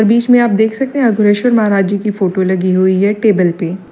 बीच में आप देख सकते हैं अग्रसर महाराज जी की फोटो लगी हुई है टेबल पे।